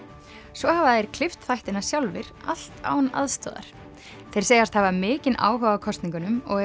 svo hafa þeir klippt þættina sjálfir allt án aðstoðar þeir segjast hafa mikinn áhuga á kosningunum og